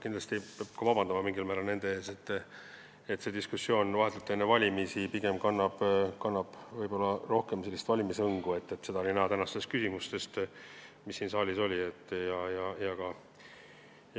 Kindlasti peab mingil määral nendelt ka vabandust paluma, sest see diskussioon kannab vahetult enne valimisi pigem sellist valimishõngu, seda oli näha küsimustest